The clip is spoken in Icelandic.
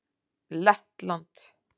Lettland